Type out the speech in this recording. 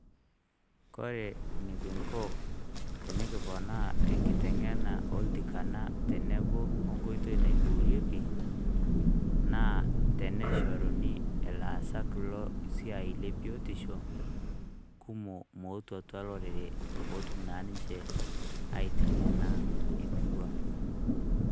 Kore enikinko tenikiponaa enkiteng'ena oltikana tenebo onkoitoi naiboorieki, naa teneshoruni ilaasak lo siai le biotisho, kumok mootu atua lorere potum na ninche aiteng'ena emurua.